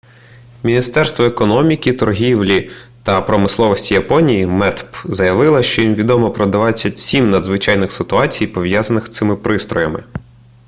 міністерство економіки торгівлі та промисловості японії метп заявило що їм відомо про 27 надзвичайних ситуацій пов'язаних з цими пристроями